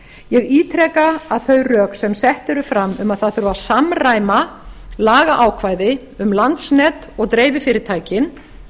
ég ítreka að þau rök sem sett eru fram um að það þurfi að samræma lagaákvæði um landsnet og dreififyrirtækin